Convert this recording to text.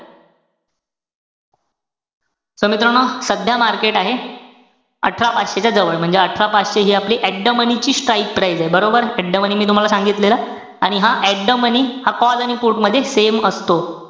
So मित्रांनो सध्या market आहे अठरा पाचशे च्या जवळ. म्हणजे अठरा पाचशे हि आपली at the money ची strike price ए. बरोबर? At the money मी तुम्हाला सांगितलेल. आणि हा at the money हा call आणि put मध्ये same असतो.